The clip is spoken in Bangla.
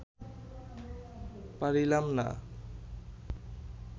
পারিলাম না